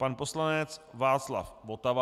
Pan poslanec Václav Votava.